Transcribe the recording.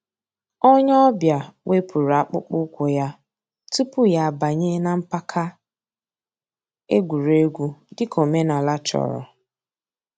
Ònyè ọ̀ bịa wépụ̀rù àkpụ̀kpọ̀ ǔ́kwụ̀ yà túpù yà àbànyè nà mpàka ègwè́ré́gwụ̀, dị̀ka òmènàlà chọ̀rọ̀.